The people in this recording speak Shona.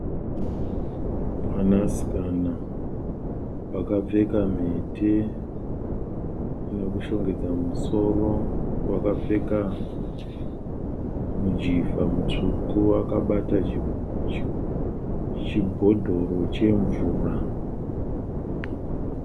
Mwanasikana akapfeka mhete inokushongedza musoro. Wakapfeka mujivha mutsvuku akabata chibhodhoro chemvura.